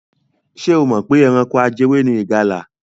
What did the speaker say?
Ṣé o mọ̀ pé ẹranko ajẹwé ni ìgalà?